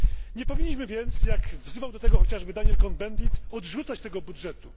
Nie powinniśmy więc jak wzywał do tego chociażby Daniel Cohn Bendit odrzucać tego budżetu.